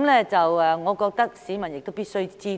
我認為市民亦是必須知道的。